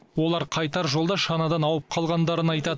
олар қайтар жолда шанадан ауып қалғандарын айтады